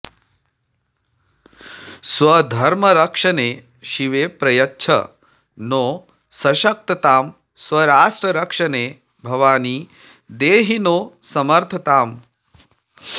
स्वधर्मरक्षणे शिवे प्रयच्छ नो सशक्ततां स्वराष्ट्ररक्षणे भवानि देहि नो समर्थताम्